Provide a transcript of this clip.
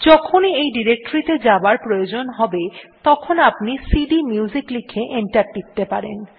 যখনই এই ডিরেক্টরীটি তে যাবার প্রয়োজন হবে তখনি আপনি সিডিএমইউজিক লিখে এন্টার টিপতে পারেন